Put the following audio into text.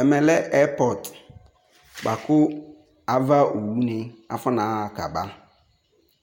Ɛmɛlɛ airport boakʋ avani afɔnaɣa k'aba